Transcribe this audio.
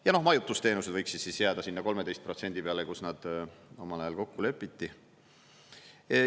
Ja majutusteenused võiksid jääda sinna 13% protsendi peale, kus nad omal ajal kokku lepiti.